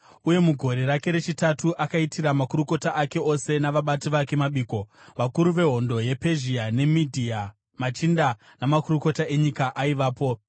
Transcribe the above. uye mugore rake rechitatu akaitira makurukota ake ose navabati vake mabiko. Vakuru vehondo yePezhia neMedhia, machinda namakurukota enyika aivapo.